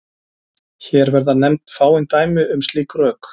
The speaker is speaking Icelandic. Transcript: Hér verða nefnd fáein dæmi um slík rök.